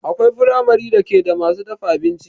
Akwai firamare da ke da masu dafa abinci